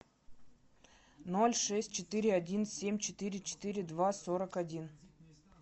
ноль шесть четыре один семь четыре четыре два сорок один